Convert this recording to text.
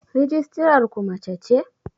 rijistarar ku mace ce?